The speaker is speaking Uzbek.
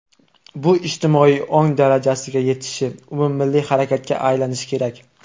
Bu ijtimoiy ong darajasiga yetishi, umummilliy harakatga aylanishi kerak.